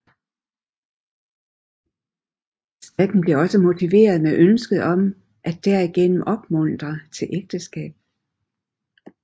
Skatten blev også motiveret med ønsket om at derigennem opmuntre til ægteskab